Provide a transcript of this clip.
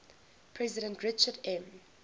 president richard m